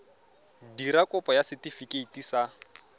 dira kopo ya setefikeiti sa